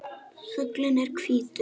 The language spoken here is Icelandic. Fuglinn er hvítur.